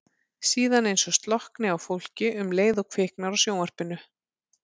Síðan eins og slokkni á fólki um leið og kviknar á sjónvarpinu.